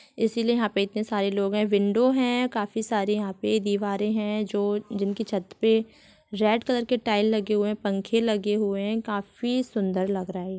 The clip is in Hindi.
इसीलिए यहाँ पे इतने सारे लोग है विंडो हैं काफी सारी यहा पे | दीवारे है जो जिनकी छत्त पे रेड कलर के टाइल लगे हुए हैं पंखे लगे हुए है काफी सुन्दर लग रहा है।